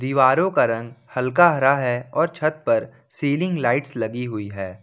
दीवारों का रंग हल्का हरा है और छत पर सीलिंग लाइट्स लगी हुई है।